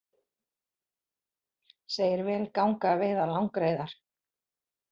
Segir vel ganga að veiða langreyðar